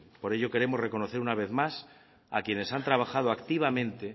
por ello queremos reconocer una vez más a quienes han trabajado activamente